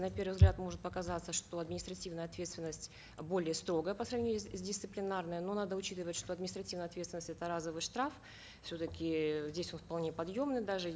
на первый взгляд может показаться что административная ответственность более строгая по сравнению с дисциплинарной но надо учитывать что административная ответственность это разовый штраф все таки э здесь он вполне подъемный даже